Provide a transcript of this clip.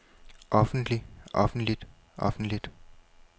offentligt offentligt offentligt